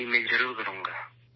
جی ، میں ضرور کروں گا